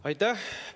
Aitäh!